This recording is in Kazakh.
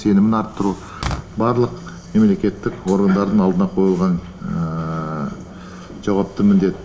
сенімін арттыру барлық мемлекеттік органдардың алдына қойылған жауапты міндет